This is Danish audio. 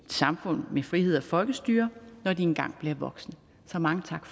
samfund med frihed og folkestyre når de engang bliver voksne så mange tak